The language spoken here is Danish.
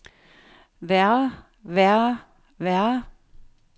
værre værre værre